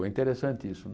Foi interessante isso né.